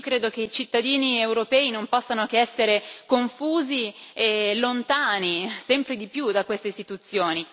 Credo che i cittadini europei non possano che essere confusi e sempre più lontani da queste istituzioni.